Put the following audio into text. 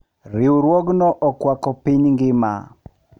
Riwruogno okwako piny ngima.